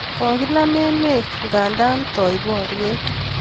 Kokinam emet kanda toi boret